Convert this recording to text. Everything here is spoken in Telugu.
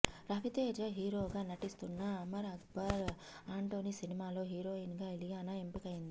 రవితేజ హీరోగా నటిస్తున్న అమర్ అక్బర్ ఆంటోని సినిమాలో హీరోయిన్ గా ఇలియానా ఎంపికైంది